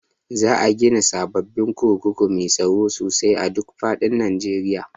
Za a gina sababbin kurkuku mai tsaro sosai a duk faɗin Najeriya